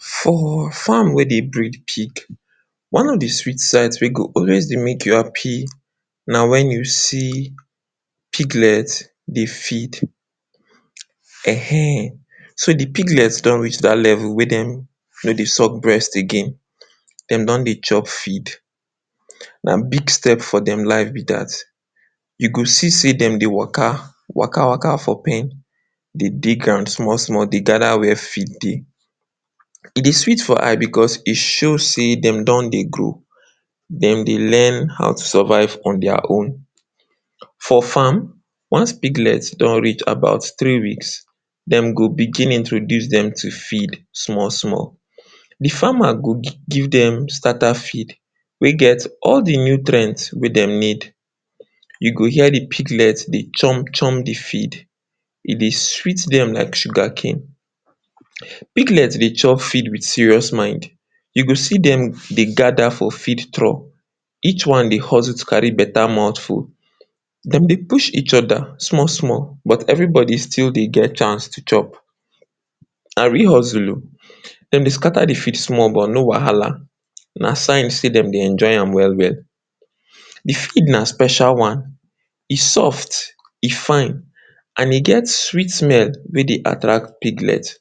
For farm wey dey bread pig, one of de sweet sights wey go dey always dey make you happi na wen you see piglets dey feed. Ehn ehn, so de piglets don reach dat level wey dem no dey suck breast again, dem don dey chop feed. Na big step for dem life be dat. You go see sey dem dey waka, waka-waka for pen dey dig ground small-small dey gather where feed dey. E dey sweet for eye because e show sey dem don dey grow dem dey learn how to survive in their own. For farm, once piglets don reach about three weeks, dem go begin introduce dem to feed small-small. De farmer go give dem starter feed wey get all de nutrient wey dem need. You go hear de piglets dey chunk-chunk de feed, e dey sweet dem like sugar cane. Piglets dey chop feeds with serious mind, you go see dem dey gather for feed troll each one dey hustle to carry beta mouth full. Dem dey push each other small-small but everybody still dey get chance to chop. Na real hustle o, dem dey scatter the feed small but no wahala na sign sey dem dey enjoy am well-well. De feed na special one, e soft, e fine, and e get sweet smell wey dey attract piglets.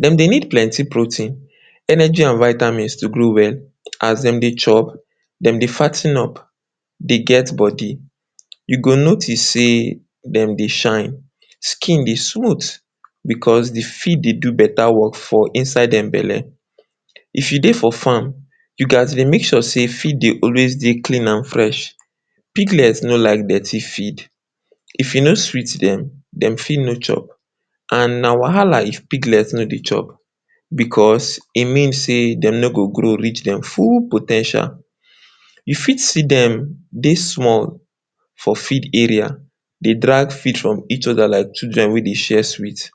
Dem dey need plenty protein, energy and vitamins to grow well, as dem dey chop dem dey fat ten up dey get body. You go notice sey dem dey shine. Skin dey smooth because feed dey do beta work for inside dem belle. If you dey for farm, you gaz dey make sure sey feeds dey always dey clean and fresh. Piglets no like dirty feed, if e no sweet dem, dem fit no chop and na wahala if piglets no dey chop because, e mean sey dem no go grow reach dem full po ten tial. You fit see dem dey small for feed dey drag feed from each other like children wey dey share sweet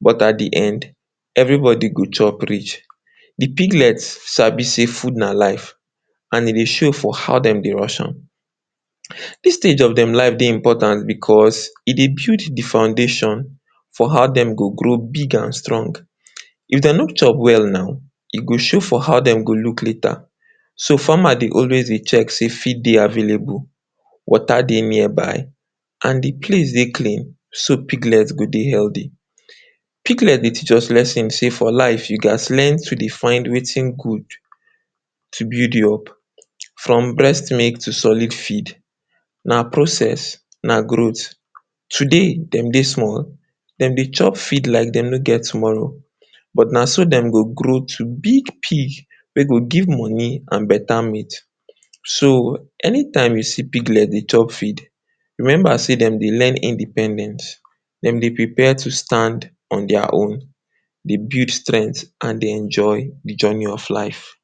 but at de end everybody go chop rich. The piglets sabi sey food na life, and e dey show for how dem dey rush am. Dis stage of dem life dey important because e dey build de foundation for how dem go grow big and strong. If dem no chop well now, e go show for how dem go look later. So, farmer dey always check if feed dey available, water dey nearby and de place dey clean so piglets go dey healthy. Piglets dey teach us lesson sey for life you gaz learn to dey find wetin good to build you up. From breast milk to solid feed, na process, na growth. Today dem dey small, dem dey chop feed like sey dem no get tomorrow. But na so dem go grow to big pig wey go give money and better meat. So, anytime you see piglets dey chop feed, remember sey dem dey learn independence. Dem dey prepare to stand on their own dey build strength and dey enjoy de journey of life.